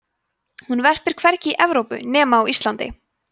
hún verpir hvergi í evrópu nema á íslandi